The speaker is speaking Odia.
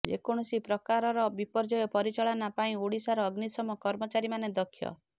ଯେକୌଣସି ପ୍ରକାରର ବିପର୍ଯ୍ୟୟ ପରିଚାଳନା ପାଇଁ ଓଡ଼ିଶାର ଅଗ୍ନିଶମ କର୍ମଚାରୀମାନେ ଦକ୍ଷ